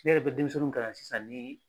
Kile yɛrɛ bɛ denmisɛnninw kalan sisan ni